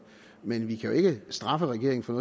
men vi kan jo ikke straffe regeringen for